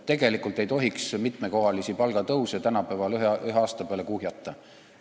Tegelikult ei tohiks mitmekohalisi palgatõuse tänapäeval ühe aasta peale kuhjata.